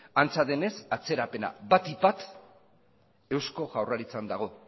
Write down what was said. antza denez atzerapena batipat eusko jaurlaritzan dago